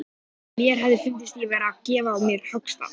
Minney, hvenær kemur leið númer tuttugu og sex?